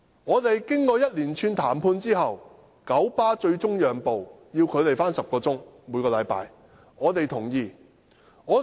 雙方經一連串談判後，九巴最終讓步，只要求他們每星期上班10小時，這點我們接受。